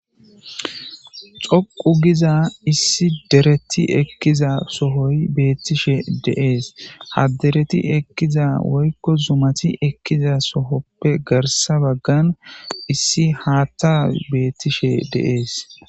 Xoqu giza issi dereti ekkiza sohoy beettishe deees ha dereti ekkiza woykko zumati ekkiza sohoppe garsa baggan issi haatta beettishe deees.